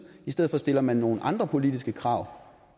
i stedet for stiller man nogle andre politiske krav